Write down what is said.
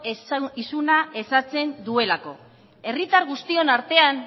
isuna ezartzen duelako herritar guztion artean